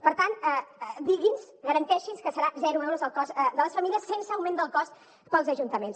per tant digui’ns garanteixi’ns que serà zero euros el cost per a les famílies sense augment del cost per als ajuntaments